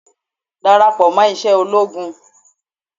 Dàràpọ̀ mọ́ iṣẹ́ ológun.